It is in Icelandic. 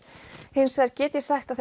hins vegar get ég sagt að